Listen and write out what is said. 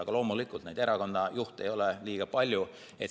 Aga loomulikult, erakonna juhte ei ole väga palju.